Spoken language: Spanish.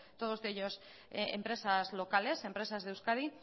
todos ellos empresas locales empresas de euskadi